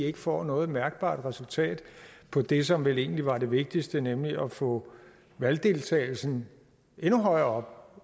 ikke får noget mærkbart resultat på det som vel egentlig var det vigtigste nemlig at få valgdeltagelsen endnu højere